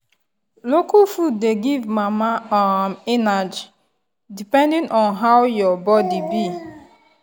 local food dey give mama um energy depending on how her body be.